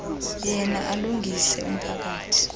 yena alungise umphakathi